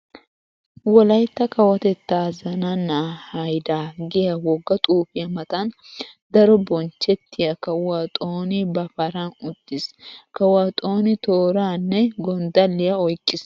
Wolaytta kawotettaa zananaa haydaa giya wogga xuufiya matan daro bonchchettiya kawuwa Xooni ba paran uttiis. Kawuwa Xooni tooraa nne gonddalliya oyqqiis.